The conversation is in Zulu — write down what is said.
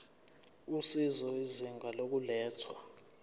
usizo izinga lokulethwa